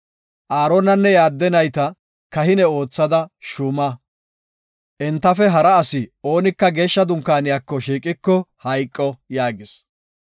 Aaronanne iya adde nayta kahine oothada shuuma. Entafe hara asi oonika Geeshsha dunkaaniyako shiiqiko hayqo” yaagis.